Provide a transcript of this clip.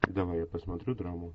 давай я посмотрю драму